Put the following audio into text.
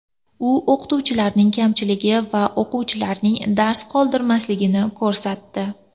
U o‘qituvchilarning kamchiligi va o‘quvchilarning dars qoldirmasligini ko‘rsatdi.